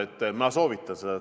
Muidugi ma soovitan seda.